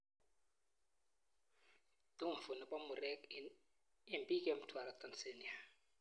Tumfo nepo murek eng piik eng Mtwara Tanzania